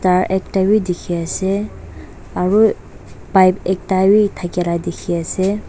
aru ekta be dikhi ase aru pipe ekta be thakela dikhi ase.